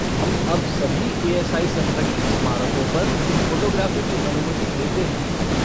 हम अब सभी ए.एस.आई. संरक्षित स्मारकों पर फ़ोटोग्राफ़ी की अनुमति देते हैं।